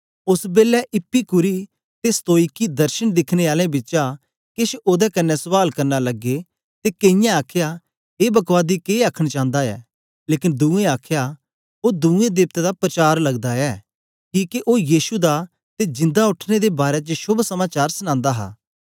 ओस बेलै इपीकूरी ते स्तोईकी दर्शन दिखने आलें बिचा केछ ओदे कन्ने सवाल करना लगे ते कईयें आखया ए बकवादी के आखन चांदा ऐ लेकन दुए आखया ओ दुए देवतां दा परचार लगदा ऐ किके ओ यीशु दा ते जिंदा उठने दे बारै च शोभ समाचार सनांदा हा